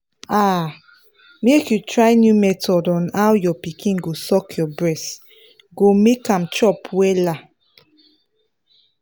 ah make you try new method on how your pikin go suck your breast go make am chop wella